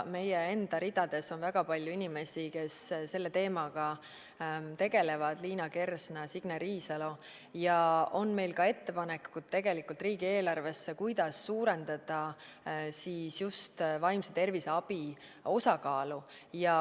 Meie enda ridades on väga palju inimesi, kes selle teemaga tegelevad – Liina Kersna, Signe Riisalo – ja tegelikult on meil ka ettepanekuid riigieelarvesse, kuidas suurendada just vaimse tervise abi osakaalu.